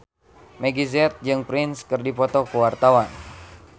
Meggie Z jeung Prince keur dipoto ku wartawan